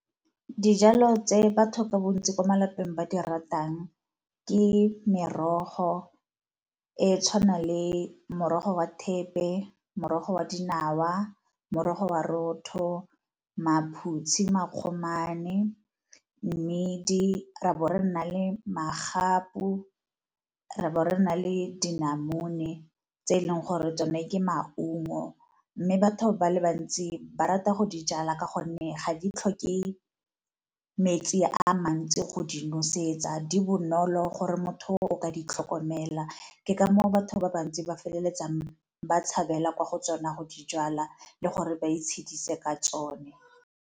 Dijalo tse batho ka bontsi ko malapeng ba di ratang ke merogo e e tshwanang le morogo wa thepe, morogo wa dinawa, morogo wa , maphutshi, makgomane, mmidi ra bo re nna le magapu, bo ra bo re na le dimonamone, tse eleng gore tsone ke maungo. Mme batho ba le bantsi ba rata go di jala ka gonne ga di tlhoke metsi a mantsi go di nosetsa di bonolo gore motho o ka di tlhokomela. Ke ka moo batho ba bantsi ba feleletsang ba tshabela kwa go tsona go di jala le gore ba itshedisa ka tsone.